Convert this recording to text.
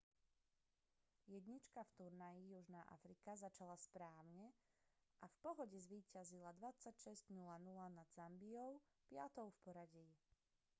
jednička v turnaji južná afrika začala správne a v pohode zvíťazila 26:00 nad zambiou 5-tou v poradí